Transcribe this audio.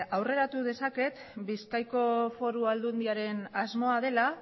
aurreratu dezaket bizkaiko foru aldundiaren asmoa dela